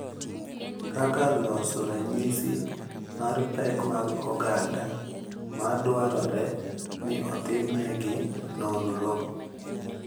Kaka loso ranyisi mar pek mag oganda ma dwarore ni otimnegi nonro.